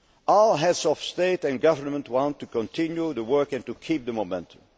All Heads of State or Government want to continue the work and to keep the